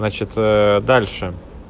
значит ээ дальше